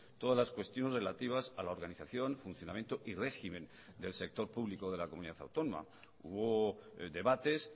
todas las cuestiones relativas a la organización funcionamiento y régimen del sector público de la comunidad autónoma hubo debates